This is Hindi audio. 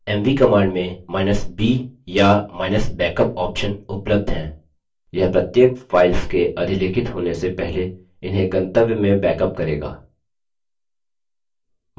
mv command मेंb या –backup option उपलब्ध हैं यह प्रत्येक file के अधिलेखित होने से पहले इन्हें गंतव्य में बैकअप करेगा